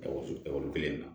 kelen na